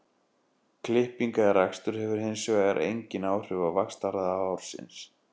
Klipping eða rakstur hefur hins vegar engin áhrif á vaxtarhraða hársins.